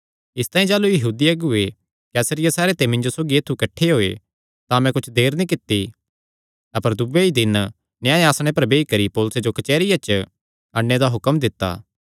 इसतांई जाह़लू यहूदी अगुऐ कैसरिया सैहरे ते मिन्जो सौगी ऐत्थु किठ्ठे होये तां मैं कुच्छ देर नीं कित्ती अपर दूये ई दिने न्याय आसणे पर बेई करी पौलुसे जो कचेहरिया च अणने दा हुक्म दित्ता